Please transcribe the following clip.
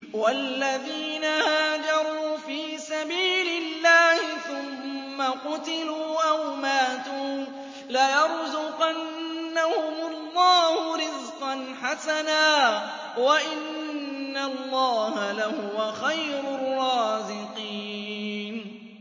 وَالَّذِينَ هَاجَرُوا فِي سَبِيلِ اللَّهِ ثُمَّ قُتِلُوا أَوْ مَاتُوا لَيَرْزُقَنَّهُمُ اللَّهُ رِزْقًا حَسَنًا ۚ وَإِنَّ اللَّهَ لَهُوَ خَيْرُ الرَّازِقِينَ